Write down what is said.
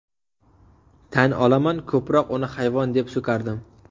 Tan olaman ko‘proq uni hayvon deb so‘kardim.